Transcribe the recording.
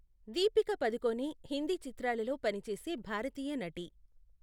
దీపిక పదుకొణె హిందీ చిత్రాలలో పని చేసే భారతీయ నటి.